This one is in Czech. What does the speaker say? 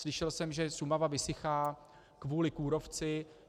Slyšel jsem, že Šumava vysychá kvůli kůrovci.